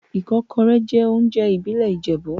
Ikokore jẹ́ oúnjẹ ìbílẹ̀ Ìjẹ̀bú.